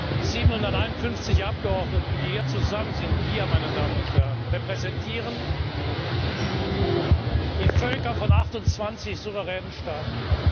Die 751 Abgeordneten, die hier zusammen sind wir, meine Damen und Herren repräsentieren die Völker von 28 souveränen Staaten.